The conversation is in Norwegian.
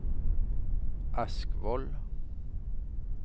Askvoll